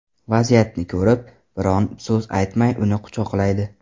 Vaziyatni ko‘rib, biron so‘z aytmay uni quchoqlaydi.